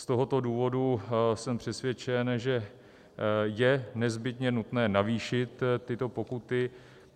Z tohoto důvodu jsem přesvědčen, že je nezbytně nutné navýšit tyto pokuty.